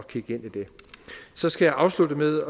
kigge ind i det så skal jeg afslutte med